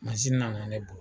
nana ne bo